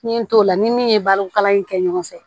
N ye n t'o la ni min ye balo kalan in kɛ ɲɔgɔn fɛ